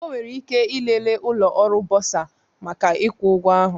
Ọ nwere ike ịlele ụlọ ọrụ bọsa maka ịkwụ ụgwọ ahụ